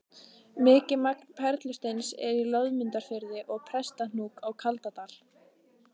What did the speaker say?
Mikið magn perlusteins er í Loðmundarfirði og Prestahnúk á Kaldadal.